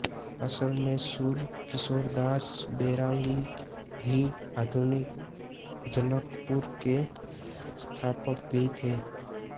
असल में शूरकिशोरदास बैरागी ही आधुनिक जनकपुर के संस्थापक भी थे